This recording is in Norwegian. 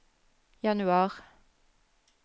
januar